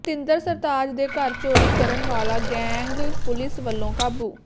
ਸਤਿੰਦਰ ਸਰਤਾਜ ਦੇ ਘਰ ਚੋਰੀ ਕਰਨ ਵਾਲਾ ਗੈਂਗ ਪੁਲਿਸ ਵੱਲੋਂ ਕਾਬੂ